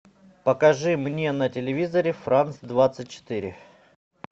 покажи мне на телевизоре франц двадцать четыре